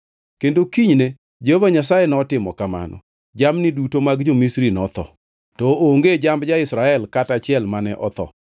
Kendo kinyne Jehova Nyasaye notimo kamano. Jamni duto mag jo-Misri notho, to onge jamb ja-Israel kata achiel mane otho.